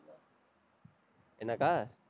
என்னக்கா?